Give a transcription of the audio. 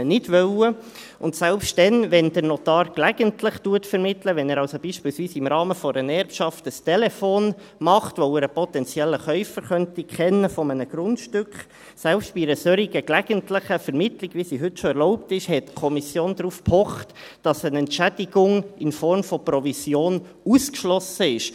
Und selbst dann, wenn der Notar gelegentlich vermittelt, wenn er also beispielsweise im Rahmen einer Erbschaft einen Telefonanruf macht, weil er einen potenziellen Käufer eines Grundstücks kennen könnte – selbst bei einer solchen gelegentlichen Vermittlung, wie sie heute schon erlaubt ist, pochte die Kommission darauf, dass eine Entschädigung in Form einer Provision ausgeschlossen ist.